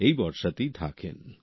এই ভরসাতেই থাকেন